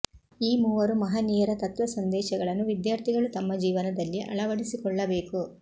ಈ ಮೂವರು ಮಹನೀಯರ ತತ್ವ ಸಂದೇಶಗಳನ್ನು ವಿದ್ಯಾರ್ಥಿಗಳು ತಮ್ಮ ಜೀವನದಲ್ಲಿ ಅಳವಡಿಸಿಕೊಳ್ಳಬೇಕು